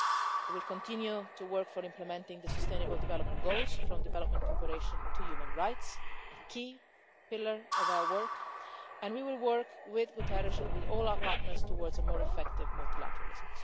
We will continue to work to implement the sustainable development goals via development cooperation on human rights a key pillar of our work and we will work with Mr Guterres and with all our partners towards a more effective multilateralism.